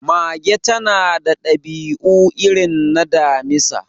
Mage ta na da dabi'u irin na Damisa